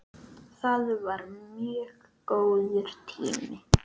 Það var mjög góður tími.